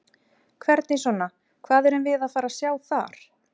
Hvernig svona, hvað erum við að fara sjá þar?